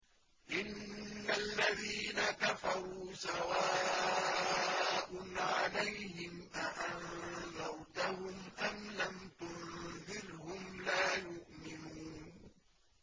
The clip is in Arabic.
إِنَّ الَّذِينَ كَفَرُوا سَوَاءٌ عَلَيْهِمْ أَأَنذَرْتَهُمْ أَمْ لَمْ تُنذِرْهُمْ لَا يُؤْمِنُونَ